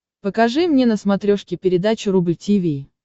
покажи мне на смотрешке передачу рубль ти ви